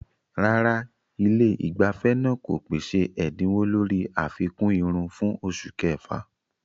Rárá, ilé ìgbafẹ́ náà kò pèsè ẹ̀dínwó lórí àfikún irun fún oṣù kẹfà.